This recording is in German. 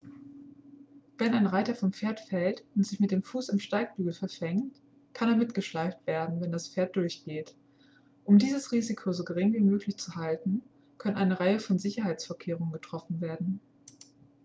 wenn ein reiter vom pferd fällt und sich mit dem fuß am steigbügel verfängt kann er mitgeschleift werden wenn das pferd durchgeht um dieses risiko so gering wie möglich zu halten können eine reihe von sicherheitsvorkehrungen getroffen werden